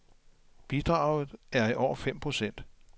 Bidraget er i år fem procent.